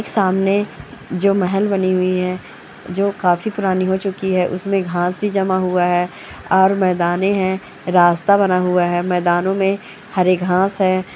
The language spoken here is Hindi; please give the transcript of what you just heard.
सामने जो महल बनी हुई है जो काफी पुरानी हो चुकी है उसमें घास भी जमा हुआ है और मैदाने हैं रास्ता बना हुआ है मैदानो में हरे घास है।